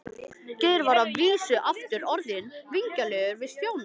Geir var að vísu aftur orðinn vingjarnlegur við Stjána.